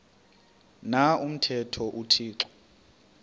na umthetho uthixo